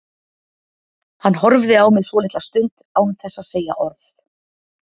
Hann horfði á mig svolitla stund án þess að segja orð.